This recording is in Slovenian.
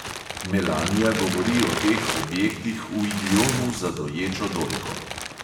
Melanija govori o teh objektih v idiomu za doječo dojko.